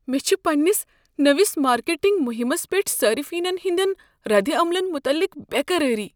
مےٚ چھےٚ پنٛنس نٔوس مارکیٹنگ مہمس پیٹھ صارفینن ہٕنٛدٮ۪ن ردعملن متعلق بےٚ قرٲری۔